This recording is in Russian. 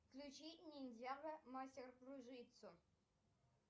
включи ниндзяго мастер кружитцу